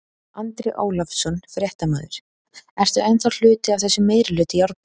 Andri Ólafsson, fréttamaður: Ertu ennþá hluti af þessum meirihluta í Árborg?